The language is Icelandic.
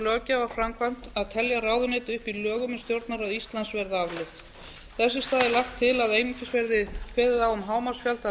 löggjafarframkvæmd að telja ráðuneyti upp í lögum um stjórnarráð íslands verði aflögð þess í stað er lagt til að einungis verði kveðið á um hámarksfjölda ráðuneyta